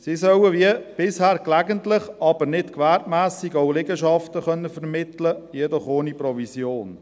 Sie sollen wie bisher gelegentlich, aber nicht gewerbsmässig auch Liegenschaften vermitteln können, jedoch ohne Provision.